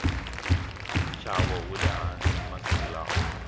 nxavo wule hansi masiku lawa